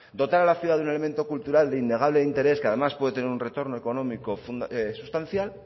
dotar a la ciudad de un elemento cultural de innegable interés que además puede tener un retorno económico sustancial